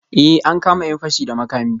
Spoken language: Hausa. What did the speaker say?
Eh, an kama ‘yan fashi da makami